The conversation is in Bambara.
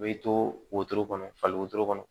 U bɛ to wotoro kɔnɔ falen wotoro kɔnɔ